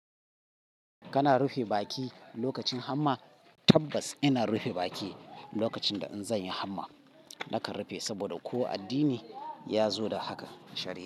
Kana rufe baki lokacin hamma? Tabbas ina rufe baki lokacin da in zan yi hamma. Nakan rufe saboda ko addini ya zo da haka shari.